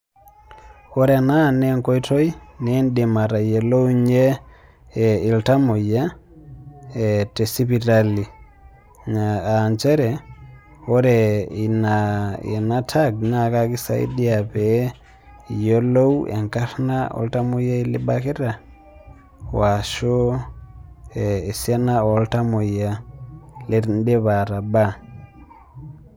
Ore ena nenkoitoi nidim atayiolounye iltamoyia, tesipitali. Ah njere, ore ina ena tag, na kekisaidia pee iyiolou enkarna oltamoyiai libakita, washu esiana oltamoyia lidipa atabaa.